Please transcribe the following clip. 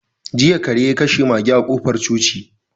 Jiya kare ya kashe mage a kofar coci.